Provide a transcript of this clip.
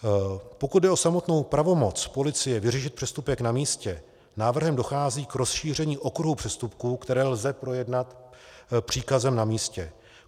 Pokud jde o samotnou pravomoc policie vyřešit přestupek na místě, návrhem dochází k rozšíření okruhu přestupků, které lze projednat příkazem na místě.